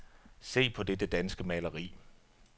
Se på dette danske maleri.